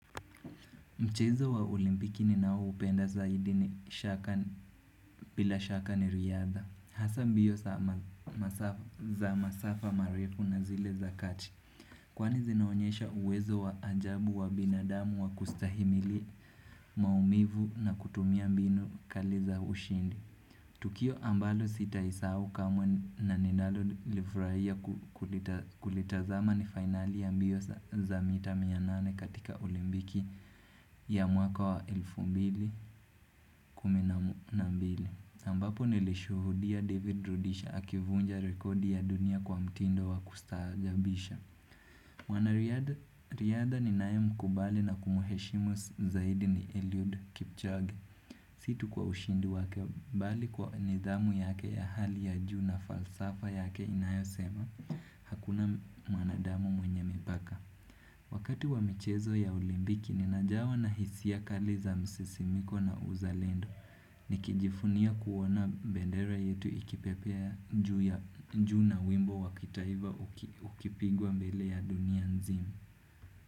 Mchezo wa ulimpiki ni nao upenda zaidi ni shaka bila shaka ni riadha. Hasa mbio zama masaf za masafa marefu na zile zakati. Kwani zinaonyesha uwezo wa ajabu wa binadamu wa kustahimili maumivu na kutumia mbinu kali za ushindi. Tukio ambalo sita isau kamwe na ninalo livraia ku kulita kulitazama ni finali ya mbio za za mita mianane katika olimbiki ya mwaka wa elfu mbili kuminamu na mbili Zambapo nilishuhudia David Rudisha akivunja rekodi ya dunia kwa mtindo wa kustaajabisha wana riada riadha ni nae mkubali na kumheshimu zaidi ni Elliot Kipchoge situ kwa ushindi wake bali kwa nidhamu yake ya hali ya juu na falsafa yake inayo sema Hakuna m mwanadamu mwenye mipaka Wakati wa michezo ya ulimbiki ninajawa na hisiakali za msisimiko na uzalendo Nikijifunia kuona bendera yetu ikipepea ju ya njuna wimbo wakitaiva uki ukipigwa mbele ya dunia nzimu.